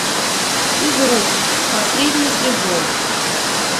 физрук последний сезон